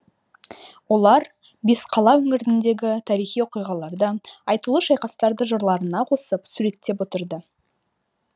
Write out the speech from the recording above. олар бесқала өңіріндегі тарихи оқиғаларды айтулы шайқастарды жырларына қосып суреттеп отырды